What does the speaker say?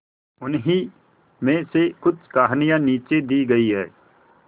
उन्हीं में से कुछ कहानियां नीचे दी गई है